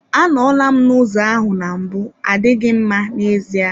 Anọla m n'ụzọ ahụ na mbụ adịghị mma n'ezie.